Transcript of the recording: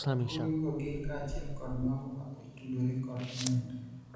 donruoge go gin kaachiel kod mago ma otudore kod omenda